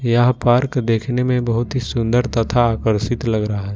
यह पार्क देखने में बहुत ही सुंदर तथा आकर्षित लग रहा है।